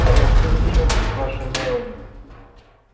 да пошли вы к чёрту с вашей мелани